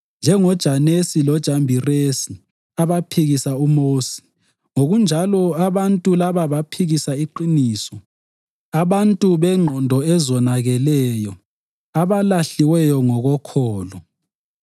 NjengoJanesi loJambiresi abaphikisa uMosi, ngokunjalo abantu laba baphikisa iqiniso. Abantu bengqondo ezonakeleyo, abalahliweyo ngokokholo.